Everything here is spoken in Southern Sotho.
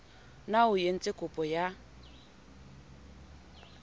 na o entse kopo ya